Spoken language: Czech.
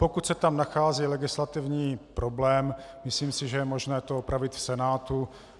Pokud se tam nachází legislativní problém, myslím si, že je možné to opravit v Senátu.